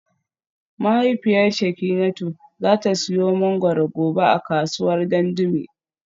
Mahaifiyar Shekinatu za ta siyo mangwaro gobe a kasuwar Dandume